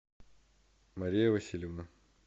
мария васильевна